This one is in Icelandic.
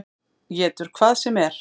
Étur hvað sem er.